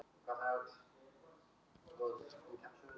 Flest bendir til þess að náttúrulegar orsakir liggi þar að baki.